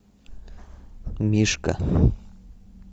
мишка